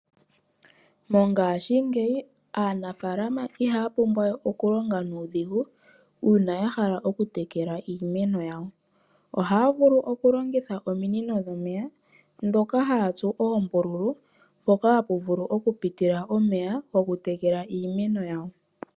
Mongashingeyi aanafaalama ihaya pumbwa we okulonga nuudhigu uuna yahala okutekela iimeno yawo, ohaya vulu okulongitha ominino dhomeya dhoka hayatsu oombululu mpoka hapu vulu okupitila omeya gokutekela iimeno yawo.